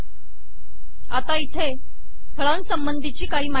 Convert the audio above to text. आता इथे फळासंबंधीची काही माहिती आहे